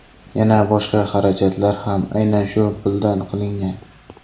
Yana boshqa xarajatlar ham aynan shu puldan qilingan.